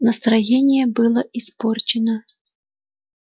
настроение было испорчено